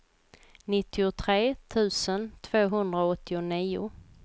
nittiotre tusen tvåhundraåttionio